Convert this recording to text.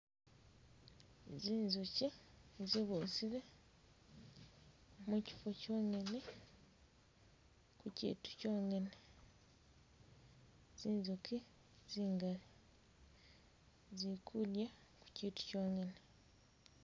Zinjukyi zibusile mukifo kyongene mukyitu kyongene zinzuki zingali zikudya kukyitu kyongene